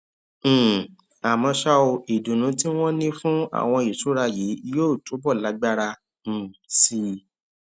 um àmó ṣá o ìdùnnú tí wón ní fún àwọn ìṣúra yìí yóò túbò lágbára um sí i